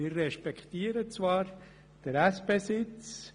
Wir respektieren zwar den Anspruch der SP.